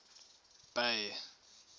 bay